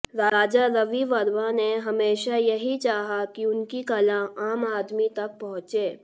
राजा रवि वर्मा ने हमेशा यही चाहा कि उनकी कला आम आदमी तक पहुंचे